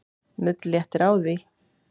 Nudd léttir á því.